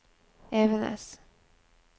Evenes